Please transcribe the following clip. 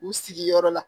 U sigiyɔrɔ la